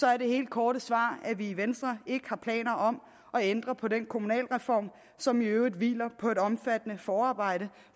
er det helt korte svar at vi i venstre ikke har planer om at ændre på den kommunalreform som i øvrigt hviler på et omfattende forarbejde